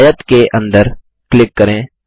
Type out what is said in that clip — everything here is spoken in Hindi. आयत के अंदर क्लिक करें